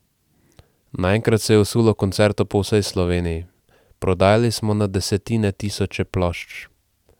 Naenkrat se je vsulo koncertov po vsej Sloveniji, prodajali smo na desetine tisoče plošč.